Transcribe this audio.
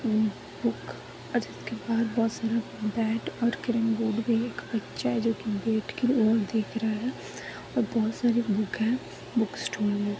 --और बुक और इसके बाहर बहुत सारे रेड और क्रीम पहन हुआ बच्चा है जो के बोर्ड की और दिख रहे है ओर बहोत सारी बुक है बुक स्टोर मे --